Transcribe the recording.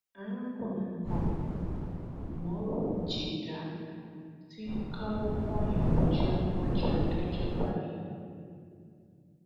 arákùnrin kan umoru jidah ti ń káwọ pọnyìn rojọ níwájú adájọ báyìí